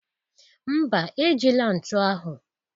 Mba, ejila ntu ahụ